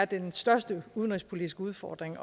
den største udenrigspolitiske udfordring